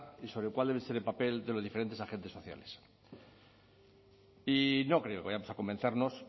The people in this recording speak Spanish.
y sobre cuál debe ser el papel de los diferentes agentes sociales y no creo que vayamos a convencernos